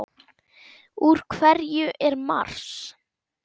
Úr hverju er Mars?